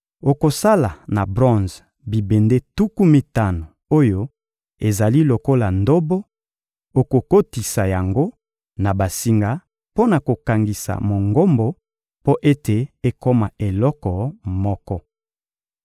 Okosala na bronze bibende tuku mitano oyo ezali lokola ndobo; okokotisa yango na basinga mpo na kokangisa Mongombo mpo ete ekoma eloko moko.